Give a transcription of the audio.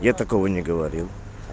я такого не говорил